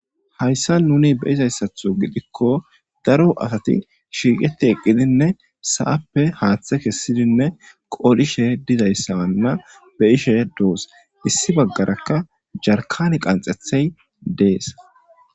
hayssa nuni beizayssatho gidikko daro asati shiiqeti eqqidinne sa7appe haaththe kessidinne qodhishe dizayssabanna be ishe doos issi baggarakka jarkani qanxethey dees